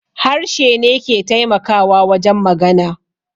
Harshe ne ke taimakawa wajen magana